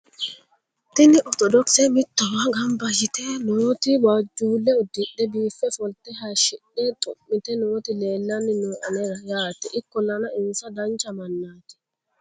tini ortodokise mittowa gamba yite nooti waajjulle udidhe biife ofolte hayshidhe xu'mite nooti lelanni nooe anera yaate ikkollana insa dancha mannaati